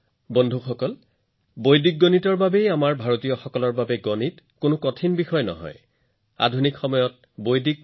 বন্ধুসকল গণিত আমাৰ ভাৰতীয়সকলৰ বাবে কেতিয়াও কঠিন বিষয় নহয় ইয়াৰ এটা ডাঙৰ কাৰণ হৈছে আমাৰ বৈদিক গণিত